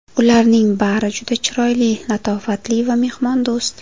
Ularning bari juda chiroyli, latofatli va mehmondo‘st.